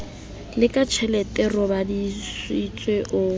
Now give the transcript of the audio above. le ka tjheletevv raboditse o